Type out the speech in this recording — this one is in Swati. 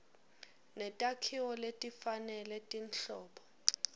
netakhiwo letifanele tinhlobo